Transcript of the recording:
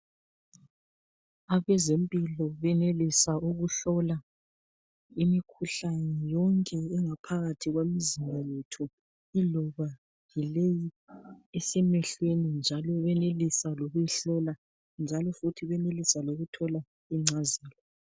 abezempilo benelisa ukuhlola imikhuhlane yonke engaphakathi kwemizimba yethu iloba yileyi esemehlweni njalo benelisa lokuyi hlola njalofuthi benelisa lokuthola incazelo